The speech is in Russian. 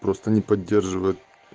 просто не поддерживает